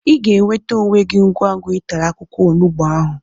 Ị ga-enweta onwe gị ngwa ngwa ị tara akwụkwọ onugbu ahụ